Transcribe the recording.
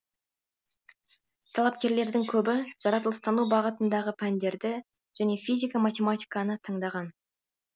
талапкерлердің көбі жаратылыстану бағытындағы пәндерді және физика математиканы таңдаған